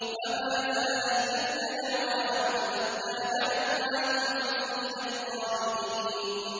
فَمَا زَالَت تِّلْكَ دَعْوَاهُمْ حَتَّىٰ جَعَلْنَاهُمْ حَصِيدًا خَامِدِينَ